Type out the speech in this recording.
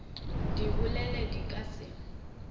di bolele di ka se